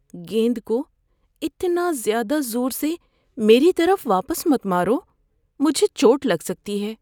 گیند کو اتنا زیادہ زور سے میری طرف واپس مت مارو۔ مجھے چوٹ لگ سکتی ہے۔